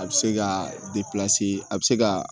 A bɛ se ka a bɛ se ka